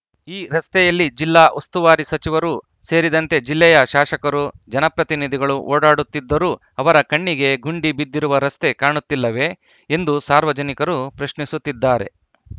ಈ ರಸ್ತೆಯಲ್ಲಿ ಜಿಲ್ಲಾ ಉಸ್ತುವಾರಿ ಸಚಿವರು ಸೇರಿದಂತೆ ಜಿಲ್ಲೆಯ ಶಾಶಕರು ಜನಪ್ರತಿನಿಧಿಗಳು ಓಡಾಡುತ್ತಿದ್ದರೂ ಅವರ ಕಣ್ಣಿಗೆ ಗುಂಡಿ ಬಿದ್ದಿರುವ ರಸ್ತೆ ಕಾಣುತ್ತಿಲ್ಲವೇ ಎಂದು ಸಾರ್ವಜನಿಕರು ಪ್ರಶ್ನಿಸುತ್ತಿದ್ದಾರೆ